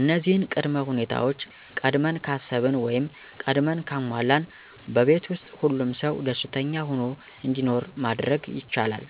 እነዚህን ቅድመ ሁኔታወች ቀድመን ካሰብን ወይም ቀድመን ካሟላን በቤት ውስጥ ሁሉም ሰው ደስኛ ሁኖ እንዲኖር ማድረግ ይቻላል።